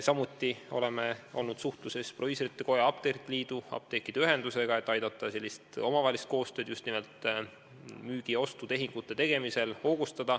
Samuti oleme suhelnud proviisorite koja, apteekrite liidu ja apteekide ühendusega, et aidata hoogustada omavahelist koostööd just nimelt müügi- ja ostutehingute tegemisel.